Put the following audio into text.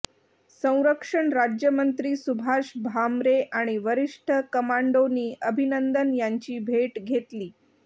संरक्षण राज्यमंत्री सुभाष भामरे आणि वरिष्ठ कमांडोंनी अभिनंदन यांची भेट घेतली